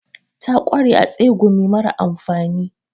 Ta kware a tsegumi mara amfani.